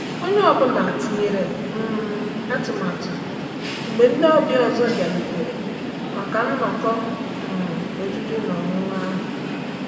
Onye ọ bụla tinyere um atụmatụ mgbe ndị ọbịa ọzọ bịarutere maka nnọkọ um oriri na ọṅụṅụ ahụ.